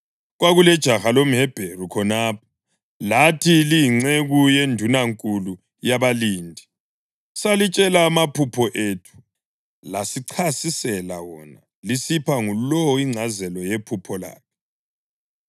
Kwakulejaha lomHebheru khonapho, lathi liyinceku yendunankulu yabalindi. Salitshela amaphupho ethu, lasichasisela wona, lisipha ngulowo ingcazelo yephupho lakhe.